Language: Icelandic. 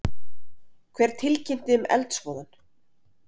Hver tilkynnti um eldsvoðann?